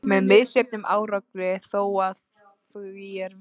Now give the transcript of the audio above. Með misjöfnum árangri þó, að því er virtist.